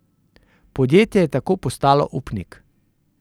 Podjetje je tako postalo upnik.